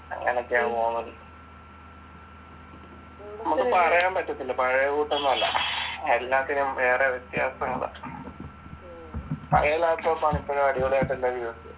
അങ്ങനെയൊക്കെയാണ് പോകുന്നത നമ്മക്ക് പറയാൻ പറ്റത്തില്ല പഴയെ എല്ലാത്തിനും വേറെ വ്യത്യാസം ഉണ്ട്